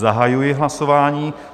Zahajuji hlasování.